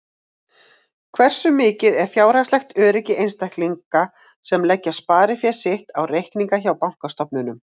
Hversu mikið er fjárhagslegt öryggi einstaklinga sem leggja sparifé sitt á reikninga hjá bankastofnunum?